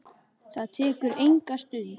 Það tekur enga stund.